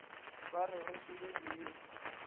ba re re šome diiri